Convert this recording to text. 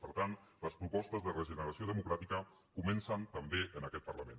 per tant les propostes de re·generació democràtica comencen també en aquest parlament